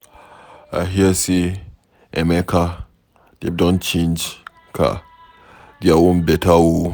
I hear say Emeka dem don change car, their own beta oo.